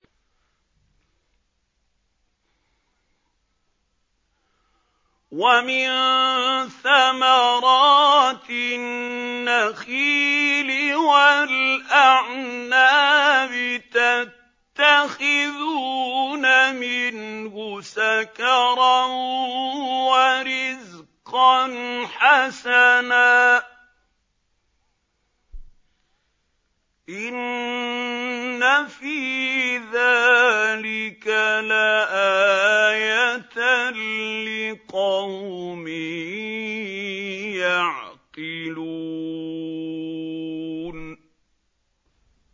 وَمِن ثَمَرَاتِ النَّخِيلِ وَالْأَعْنَابِ تَتَّخِذُونَ مِنْهُ سَكَرًا وَرِزْقًا حَسَنًا ۗ إِنَّ فِي ذَٰلِكَ لَآيَةً لِّقَوْمٍ يَعْقِلُونَ